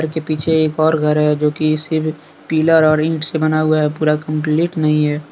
इसके पीछे एक और घर है जोकि सिर्फ पिलर और ईट से बना हुआ है पूरा कंप्लीट नहीं है।